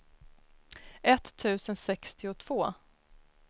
etttusen sextiotvå